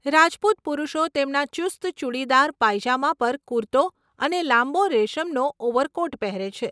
રાજપૂત પુરુષો તેમના ચુસ્ત ચૂડીદાર પાયજામા પર કુર્તો અને લાંબો રેશમનો ઓવરકોટ પહેરે છે.